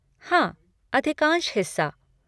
हाँ, अधिकांश हिस्सा।